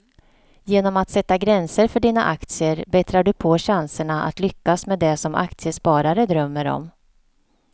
Genom att sätta gränser för dina aktier bättrar du på chanserna att lyckas med det som aktiesparare drömmer om.